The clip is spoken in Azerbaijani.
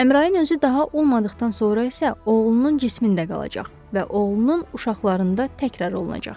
Əmrayin özü daha o olmadıqdan sonra isə oğlunun cismində qalacaq və oğlunun uşaqlarında təkrar olunacaq.